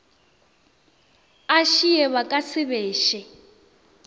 ašii ba ka se beše